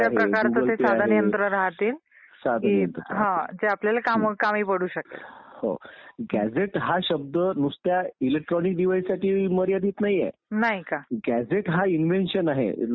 परंतु आपल्या देशात होतं असं डॉ. आंबेडकर म्हणाले होते की निवडणुका ह्या पारदर्शक झाल्या पाहिजेत. आता पारदर्शक होताना दिसत नाहीत असं आपल्याला खेदाने म्हणावं लागेल.